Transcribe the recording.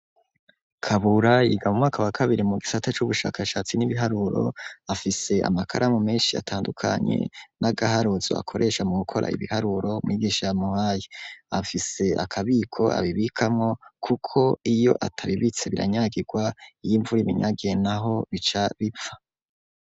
Kabura yiga mumwaka wa kabiri mu gisata c'ubushakashatsi n'ibiharuro afise amakaramu menshi atandukanyi n'agaharozo akoresha mu gukora ibiharuro mwigisha yamuhayi afise akabiko abibikamwo, kuko iyo atabibitse biranyagirwa iyo imfura ibinyage na ho bica bipfa.